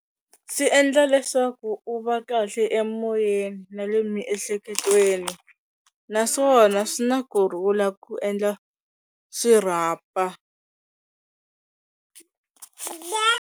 Swi endla leswaku u va kahle emoyeni na le miehleketweni, naswona swi na kurhula ku endla xirhapa.